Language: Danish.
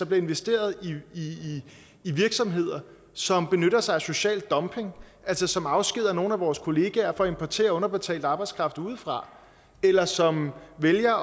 bliver investeret i virksomheder som benytter sig af social dumping altså som afskediger nogle af vores kollegaer for at importere underbetalt arbejdskraft udefra eller som vælger